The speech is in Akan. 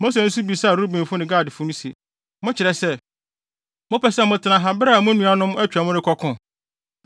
Mose nso bisaa Rubenfo ne Gadfo no se, “Mokyerɛ sɛ, mopɛ sɛ motena ha bere a mo nuanom atwa mu rekɔko?